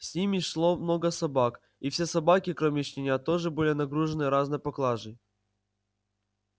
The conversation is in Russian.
с ними шло много собак и все собаки кроме щенят тоже были нагружены разной поклажей